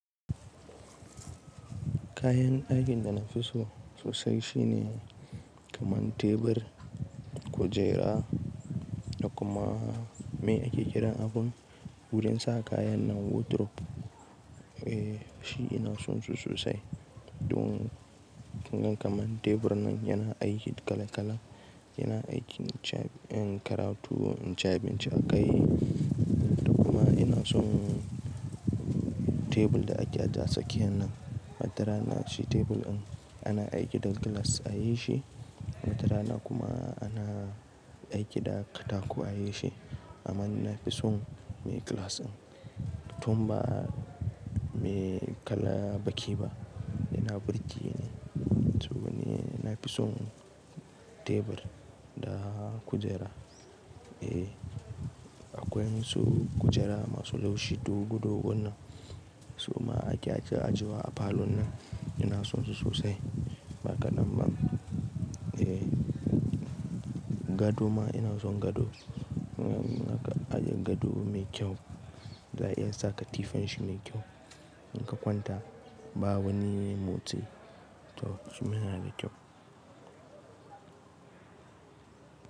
Kayan ɗakin da na fi so sosai shine kaman tebur, kujera da kuma, meye ake kiran abun? Wurin saka kayan nan, wardrobe. Eh, shi ina son su sosai. Don, kaman tebur nan yana aiki kala-kala, yana aiki in karatu, in ci abinci akai, da kuma ina son tebur da ake aje a tsakiyan nan. Wa ta rana shi tebur in, ana aiki da glass a yi shi, wa ta rana kuma, ana aiki da katako a yi shi, amma ni na fi son me glass in. Tun ba, me kala baki ba, yana burge ne. Saboda ni na fi son tebur da kujera. Eh, akwai ma su kujera masu laushi dogo-dogon nan, to ma ake ajiye, ajiyewa a falon nan. Ina son su sosai. Ba kaɗan ba. Eh, gado ma ina son gado. In aka ajiye gado mai kyau, za a iya sa katifan shi mai kyau. In ka kwanta, ba wani motsi. Toh, shima yana da kyau,